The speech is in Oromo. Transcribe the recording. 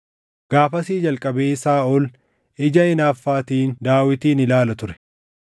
Gaafasii jalqabee Saaʼol ija hinaaffaatiin Daawitin ilaala ture.